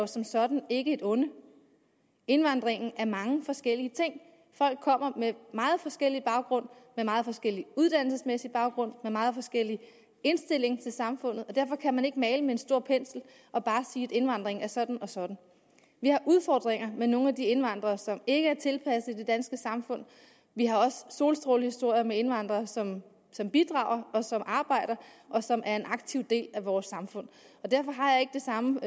som sådan ikke er et onde indvandringen er mange forskellige ting folk kommer med meget forskellig baggrund med meget forskellig uddannelsesmæssig baggrund med meget forskellig indstilling til samfundet og derfor kan man ikke male med en stor pensel og bare sige at indvandringen er sådan og sådan vi har udfordringer med nogle af de indvandrere som ikke er tilpasset det danske samfund vi har også solstrålehistorier med indvandrere som som bidrager og som arbejder og som er en aktiv del af vores samfund derfor har jeg ikke det samme